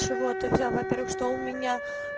чего ты взял во-первых что у меня